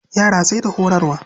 Yara sai da horarwa.